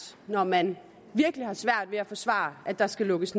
når man virkelig har svært ved at forsvare at der skal lukkes